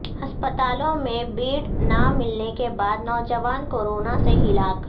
ہسپتالوں میں بیڈ نہ ملنے کے بعد نوجوان کورونا سے ہلاک